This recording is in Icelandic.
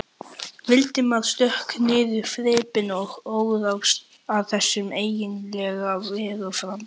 Valdimar stökk niður þrepin og óð að þessum einkennilega vegfaranda.